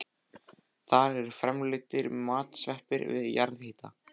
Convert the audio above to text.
Þar eru framleiddir matsveppir við jarðhita.